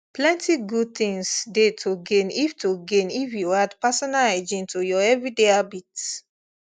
plenty good things dey to gain if to gain if you add personal hygiene to your everyday habits